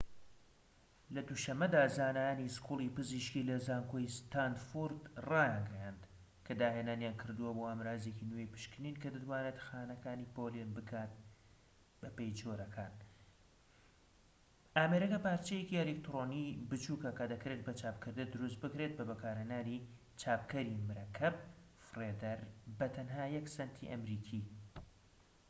لە دوو شەمەدا زانایانی سکوڵی پزیشكی لە زانکۆی ستانفۆرد رایانگەیاند کە داهێنانیان کردووە بۆ ئامرازێکی نوێی پشکنین کە دەتوانێت خانەکان پۆلێن بکات بەپێی جۆرەکان ئامێرەکە پارچەیەکی ئەلیکترۆنیی بچوکە کە دەکرێت بە چاپکردن دروست بکرێت بە بەکارهێنانی چاپکەری مەرەکەب فڕێدەر بە تەنها یەك سەنتی ئەمریکی